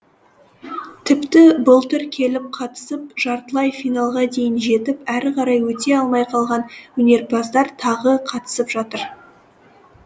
тіпті былтыр келіп қатысып жартылай финалға дейін жетіп әрі қарай өте алмай қалған өнерпаздар тағы қатысып жатыр